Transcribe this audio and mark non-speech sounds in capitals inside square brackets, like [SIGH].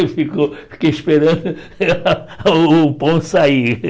Eu fiquei esperando [LAUGHS] o o pão sair.